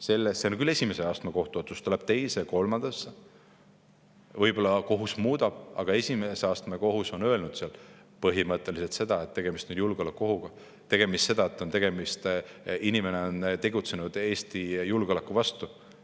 See on küll esimese astme kohtu otsus, ta läheb teise ja kolmandasse astmesse, võib-olla kohus muudab, aga esimese astme kohus on öelnud põhimõtteliselt seda, et tegemist on julgeolekuohuga, inimene on tegutsenud Eesti julgeoleku vastu.